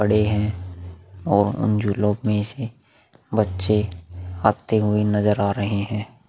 पड़े हैं और उन झूलो में बच्चे भागते हुए नजर आ रहे हैं।